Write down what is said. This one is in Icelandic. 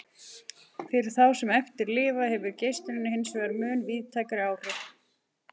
Fyrir þá sem eftir lifa hefur geislunin hinsvegar mun víðtækari áhrif.